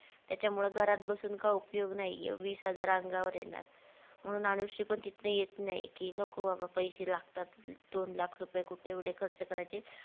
त्याच्यामुळे घरात बसून काय उपयोग नाहीये वीस हजार अंगावर येणार म्हणून अनुश्री पण तिथनं येत नाय की नको बाबा पैसे लागतात दोन लाख रुपय कुठं एवढे खर्च करायचे?